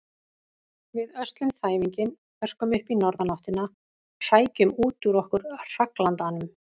Við öslum þæfinginn, örkum upp í norðanáttina, hrækjum út úr okkur hraglandanum.